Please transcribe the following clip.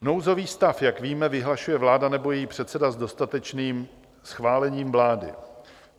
Nouzový stav, jak víme, vyhlašuje vláda nebo její předseda s dodatečným schválením vlády.